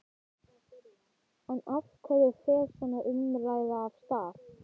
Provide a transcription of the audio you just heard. Drífðu þig nú á ballið, móðir hennar var orðin óþolinmóð.